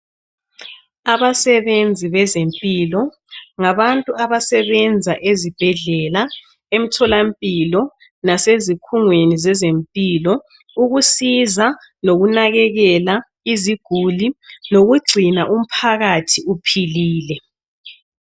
Abasebenzi bezempilo. Ngabantu abasebenza ezibhedlela, emtholampilo. Nasezikhungweni zezempilo. Ukusiza nokunakekela iziguli. Nokugcina umphakathi uphilile.